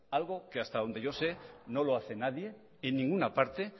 algo que hasta donde yo sé no lo hace nadie en ninguna parte